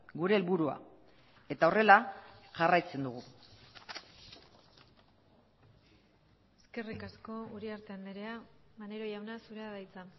gure helburua eta horrela jarraitzen dugu eskerrik asko uriarte andrea maneiro jauna zurea da hitza